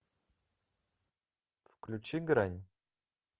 включи грань